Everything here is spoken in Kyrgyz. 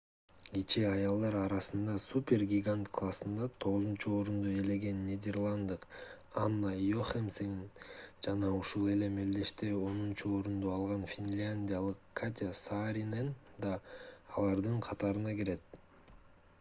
кечээ аялдар арасындагы супер-гигант классында 9-орунду ээлеген нидерланддык анна йохемсен жана ушул эле мелдеште онунчу орунду алган финляндиялык катя сааринен да алардын катарына кирет